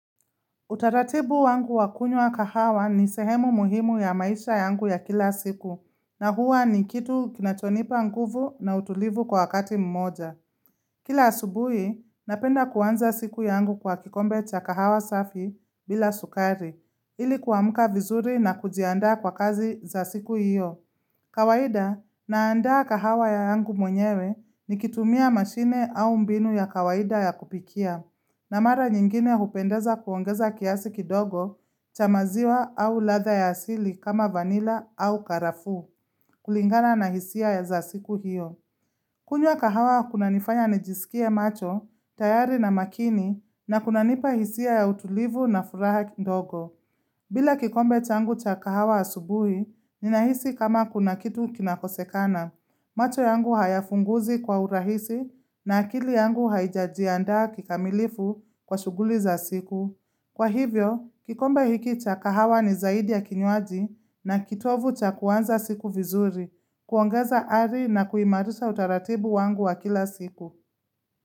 Utaratibu wangu wa kunywa kahawa ni sehemu muhimu ya maisha yangu ya kila siku na huwa ni kitu kinachonipa nguvu na utulivu kwa wakati mmoja. Kila asubuhi napenda kuanza siku yangu kwa kikombe cha kahawa safi bila sukari ili kuamka vizuri na kujiandaa kwa kazi za siku iyo. Kawaida naandaa kahawa yangu mwenyewe nikitumia mashine au mbinu ya kawaida ya kupikia na mara nyingine hupendeza kuongeza kiasi kidogo cha maziwa au ladha ya asili kama vanila au karafuu kulingana na hisia za siku hiyo kunywa kahawa kunanifanya nijisikie macho, tayari na makini na kunanipa hisia ya utulivu na furaha kidogo bila kikombe changu cha kahawa asubuhi, ninahisi kama kuna kitu kinakosekana. Macho yangu hayafunguzi kwa urahisi na akili yangu haijajianda kikamilifu kwa shughuli za siku. Kwa hivyo, kikombe hiki cha kahawa ni zaidi ya kinywaji na kitovu cha kuanza siku vizuri, kuongeza ari na kuimarisha utaratibu wangu wa kila siku.